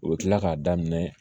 U bɛ kila k'a daminɛ